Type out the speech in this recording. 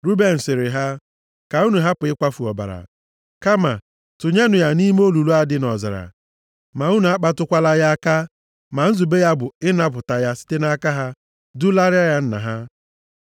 Ruben sịrị ha, “Ka unu hapụ ịkwafu ọbara. Kama tụnyenụ ya nʼime olulu a dị nʼọzara. Ma unu akpatụkwala ya aka.” Ma nzube ya bụ ịnapụta ya site nʼaka ha, dulaara ya nna ya.